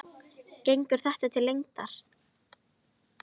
Gengur þetta til lengdar?